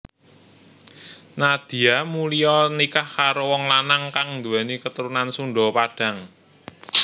Nadia Mulya nikah karo wong lanang kang nduwèni katurunan Sunda Padang